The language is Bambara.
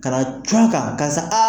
Ka na jun a kan karisa aa